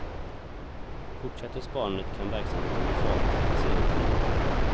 Fortsätter sparandet kan verksamheten bli farlig för patienterna.